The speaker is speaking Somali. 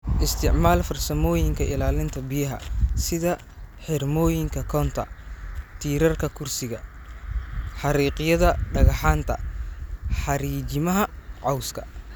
Isticmaal farsamooyinka ilaalinta biyaha sida xirmooyinka Contour, tiirarka kursiga, xariiqyada dhagxaanta, xariijimaha cawska.